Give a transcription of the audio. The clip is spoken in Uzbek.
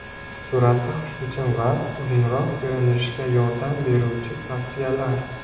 Suratda xushbichim va uzunroq ko‘rinishga yordam beruvchi tavsiyalar.